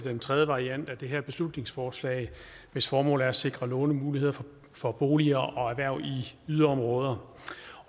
den tredje variant af det her beslutningsforslag hvis formål er at sikre lånemuligheder for boliger og erhverv i yderområder